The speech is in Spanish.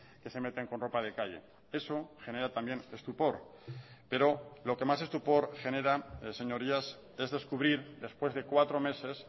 que se meten con ropa de calle eso genera también estupor pero lo que más estupor genera señorías es descubrir después de cuatro meses